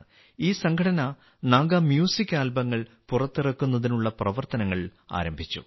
ഈ സംഘടന നാഗ മ്യൂസിക് ആൽബങ്ങൾ പുറത്തിറക്കുന്നതിനുള്ള പ്രവർത്തനങ്ങൾ ആരംഭിച്ചു